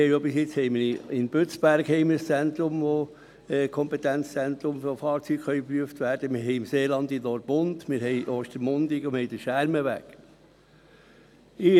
Wir haben bisher in Bützberg ein Kompetenzzentrum, wo Fahrzeuge geprüft werden können, wir haben im Seeland in Orpund ein Verkehrsprüfzentrum, und wir haben in Ostermundigen und am Schermenweg Standorte.